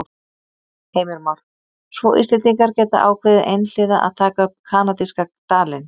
Heimir Már: Svo Íslendingar geta ákveðið einhliða að taka upp kanadíska dalinn?